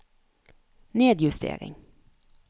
nedjustering